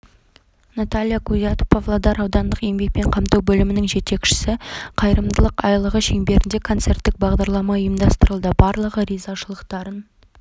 наталья кузят павлодар аудандық еңбекпен қамту бөлімінің жетекшісі қайырымдылық айлығы шеңберінде концерттік бағдарлама ұйымдастырылды барлығы ризашылықтарын